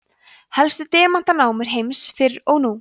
helstu demantanámur heims fyrr og nú